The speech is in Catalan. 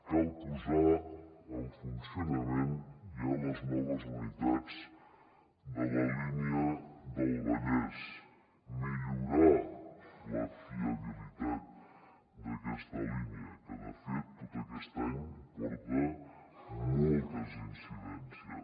cal posar en funcionament ja les noves unitats de la línia del vallès millorar la fiabilitat d’aquesta línia que de fet tot aquest any porta moltes incidències